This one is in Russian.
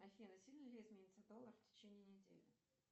афина сильно ли изменится доллар в течение недели